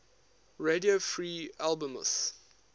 radio free albemuth